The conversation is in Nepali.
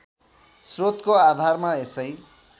श्रोतको आधारमा यसै